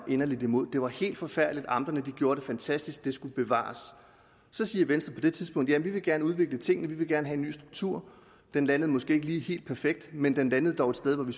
inderligt imod det var helt forfærdeligt amterne gjorde det fantastisk det skulle bevares så siger venstre på det tidspunkt jamen vi vil gerne udvikle tingene vi vil gerne have en ny struktur den landede måske ikke lige helt perfekt men den landede dog et sted hvor vi